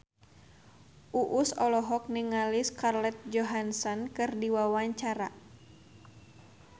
Uus olohok ningali Scarlett Johansson keur diwawancara